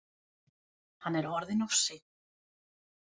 Hann er orðinn of seinn.